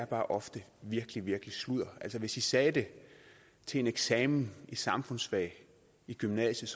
bare ofte virkelig virkelig noget sludder altså hvis i sagde det til en eksamen i samfundsfag i gymnasiet